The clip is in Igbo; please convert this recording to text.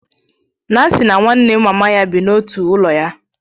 Nancy na nwanne mama ya bi n'otu ọnụ ụlọ ya.